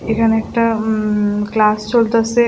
এখানে একটা উম ক্লাস চলতাসে।